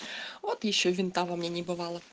вот ещё винта во мне не бывало